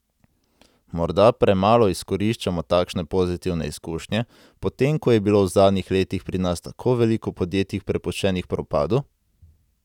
Morda premalo izkoriščamo takšne pozitivne izkušnje, potem ko je bilo v zadnjih letih pri nas tako veliko podjetij prepuščenih propadu?